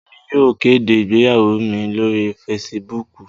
Emi yóò kede igbeyawo mi lori Fèsìbúukù